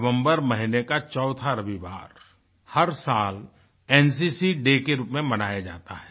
नवम्बर महीने का चौथा रविवार हर साल एनसीसी डे के रूप में मनाया जाता है